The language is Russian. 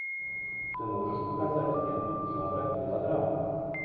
ты можешь показать ленту жанра мелодрама